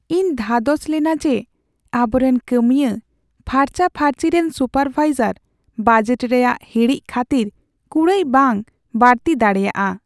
ᱤᱧ ᱫᱷᱟᱫᱚᱥ ᱞᱮᱱᱟ ᱡᱮ ᱟᱵᱚᱨᱮᱱ ᱠᱟᱹᱢᱤᱭᱟᱹ ᱯᱷᱟᱨᱪᱟᱼᱯᱷᱟᱨᱪᱤ ᱨᱮᱱ ᱥᱩᱯᱟᱨᱵᱷᱟᱭᱡᱟᱨ ᱵᱟᱡᱮᱴ ᱨᱮᱭᱟᱜ ᱦᱤᱲᱤᱡ ᱠᱷᱟᱹᱛᱤᱨ ᱠᱩᱲᱟᱹᱭ ᱵᱟᱝ ᱵᱟᱹᱲᱛᱤ ᱫᱟᱲᱮᱭᱟᱜᱼᱟ ᱾